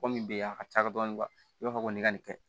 Ko min bɛ yen a ka ca dɔɔni i b'a fɔ ko nin ka nin kɛ